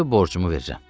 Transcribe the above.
İndi borcumu verirəm.